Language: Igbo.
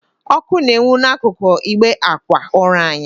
Ọkụ na-enwu n'ákụ̀kụ̀ ịgbe ákwà ụra anyị.